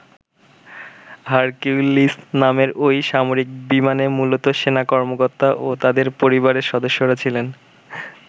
Hercules নামের ঐ সামরিক বিমানে মূলত সেনা কর্মকর্তা ও তাদের পরিবারের সদস্যরা ছিলেন।